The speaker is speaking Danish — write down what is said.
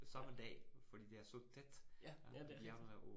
Ja. Ja, ja det er det